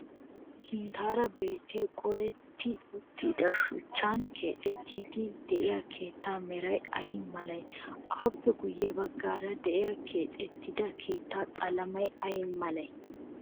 Sinttaara biittay qoletti uttido shuchchan keexxettiiddi diya keettaa meray ayi malee? Aappe guyye baggaara diya keexettida keettaa qalamee ayi malee?